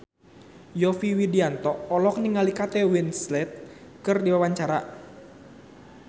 Yovie Widianto olohok ningali Kate Winslet keur diwawancara